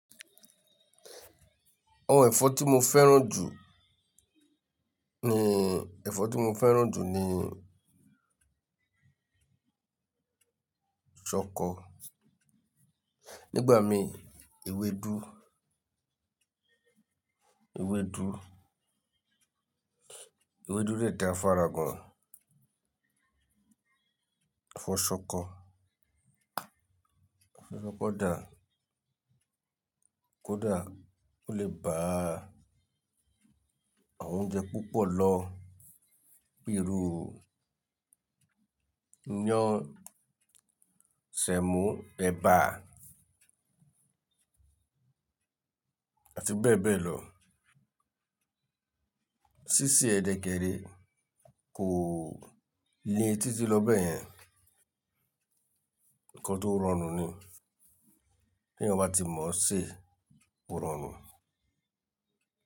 Àwọn ẹ̀fọ́ tí mo fẹ́ràn jù ni, ẹ̀fọ́ tí mo fẹ́ràn jù ni ṣọkọ. Nígbà mi ewédú, ewédú, ewédú de dá fára gan. Ẹ̀fọ́ ṣọkọ, ẹ̀fọ́ ṣọkọ dà kódà ó lè ba àwọn oúnjẹ púpọ̀ lọ bíi iru, iyán, sẹ̀mọ́, ẹ̀bà àti bẹ́ẹ̀ bẹ́ẹ̀ lọ. Sísè ẹ dẹ kẹrẹ kò le títí lọ bẹ́ẹ̀ yẹn. Ǹkan tó rọrùn ni. Bí èèyàn ba ti mọ ṣé, ó rọrùn.